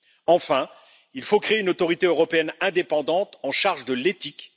Enfin, il faut créer une autorité européenne indépendante en charge de l'éthique.